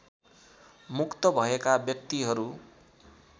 मुक्त भएका व्यक्तिहरू